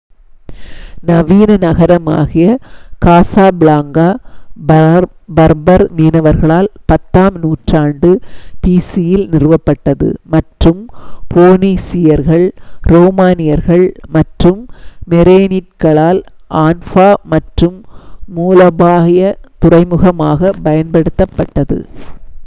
நவீன நகரமாகிய Casablanca Berber மீனவர்களால் 10 ஆம் நூற்றாண்டு பிசிஇ யில் நிறுவப்பட்டது மற்றும் போனீசியர்கள் ரோமனியர்கள் மற்றும் மேரேனிட்களால் ஆன்ஃபா என்ற மூலோபாயத் துறைமுகமாக பயன்படுத்தப்பட்டது